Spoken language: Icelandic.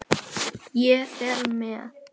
Ég fer með